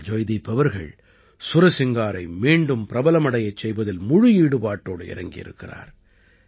ஆனால் ஜாய்தீப் அவர்கள் சுரசிங்காரை மீண்டும் பிரபலமடையச் செய்வதில் முழு ஈடுபாட்டாடு இறங்கியிருக்கிறார்